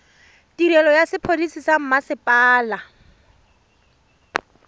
tirelo ya sepodisi sa mmasepala